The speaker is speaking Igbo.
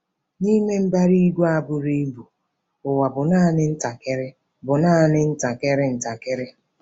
N'ime mbara igwe a buru ibu, ụwa bụ naanị ntakịrị bụ naanị ntakịrị ntakịrị.